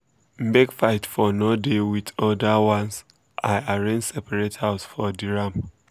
make fight for nor dey with older ones i arrange separate house for the ram